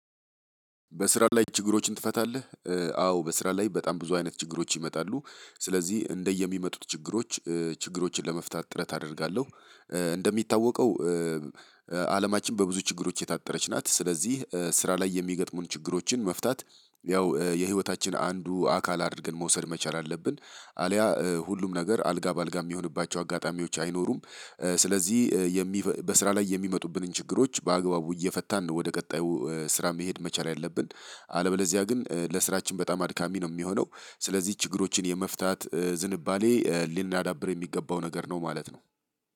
በስራ ላይ ችግሮችን ትፈታለህ አዎ በስራ ላይ በጣም ብዙ አይነት ችግሮች ይመጣሉ ስለዚህ እንደየሚመጡት ችግሮች ችግሮችን ለመፍታት ጥረት አደርጋለሁ። እንደሚታወቀው አለማችን በብዙ ችግሮች የታጠረች ናት። ስለዚህ ስራ ላይ የሚያገጥሙን ችግሮችን መፍታት ያው የህይወታችን አንዱ አካል አድርገን መውሰድ መቻል አለብን። አልያ ሁሉም ነገር አልጋ በአልጋ ሚሆንባቸው አጋጣሚዎች አይኖሩም። ስለዚህ በስራ ላይ የሚመጡብንን ችግሮች በአግባቡ እየፈታን ነው ወደ ቀጣዩ ስራ መሄድ መቻል ያለብን። አለበለዚያ ግን ለስራችን በጣም አድካሚ ነው ሚሆነው። ስለዚህ ችግሮችን የመፍታት ዝንባሌ ሊናዳብር የሚገባው ነገር ነው ማለት ነው።